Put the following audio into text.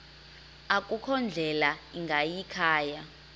akukho ndlela ingayikhaya